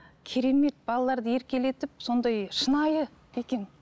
керемет балаларды еркелетіп сондай шынайы екен